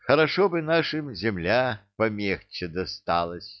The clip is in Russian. хорошо бы нашим земля помегче досталась